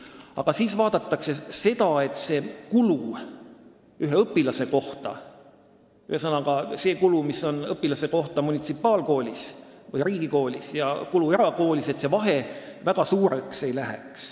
Aga siis vaadatakse seda, et munitsipaalkoolis või riigikoolis ja erakoolis ühe õpilaste kohta tehtud kulutustel ei tekiks väga suurt vahet.